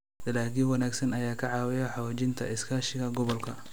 Dalagyo wanaagsan ayaa ka caawiya xoojinta iskaashiga gobolka.